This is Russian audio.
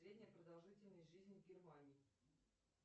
средняя продолжительность жизни в германии